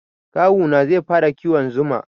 Kawu na zai fara kiwon zuma.